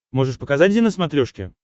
можешь показать зи на смотрешке